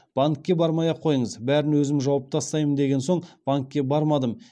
банкке бармай ақ қойыңыз бәрін өзім жауып тастаймын деген соң банкке бармадым